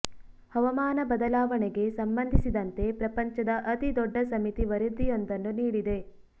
ಹವಾಮಾನ ಬದಲಾವಣೆಗೆ ಸಂಬಂಧಿಸಿದಂತೆ ಪ್ರಪಂಚದ ಅತಿ ದೊಡ್ಡ ಸಮಿತಿ ವರದಿಯೊಂದನ್ನು ನೀಡಿದೆ